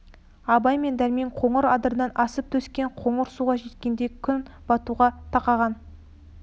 абай мен дәрмен қоңыр адырдан асып төскей қоныс суға жеткенде күн батуға тақаған